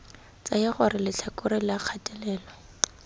tsaya gore letlhakore la kgatelelo